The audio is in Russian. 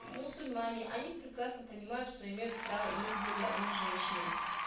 мусульмане они прекрасно понимают что имеют право иметь более одной женщины